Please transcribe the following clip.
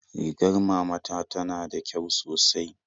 Rigar mama ta tana da kyau sosai